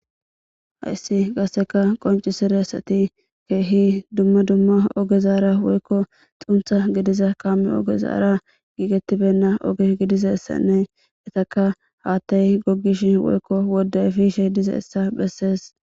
hayssi qasseka qoncisiressati keehi dumma dumma oge zaara woykko xuntha gidiza kaame oge zaara giigettibenna ogi gidiza ssanne etaka haattay goggish woykko wodde fishe diza hessa bhessees